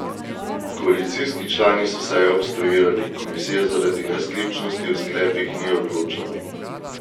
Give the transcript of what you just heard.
Koalicijski člani so sejo obstruirali, komisija zaradi nesklepčnosti o sklepih ni odločala.